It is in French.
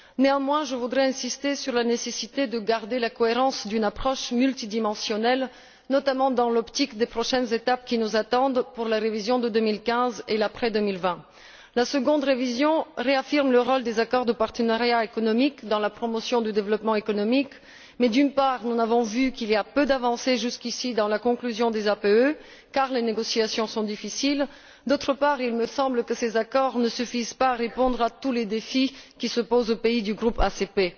Néanmoins, je voudrais insister sur la nécessité de maintenir la cohérence d'une approche multidimensionnelle, notamment dans l'optique des prochaines étapes qui nous attendent pour la révision de 2015 et l'après 2020. La seconde révision réaffirme le rôle des accords de partenariat économique dans la promotion du développement économique mais, d'une part, nous avons vu qu'il y avait eu peu d'avancées, jusqu'ici, dans la conclusion des APE, car les négociations sont difficiles, et d'autre part, il semble que ces accords ne suffisent pas à répondre à tous les défis qui se posent aux pays du groupe ACP.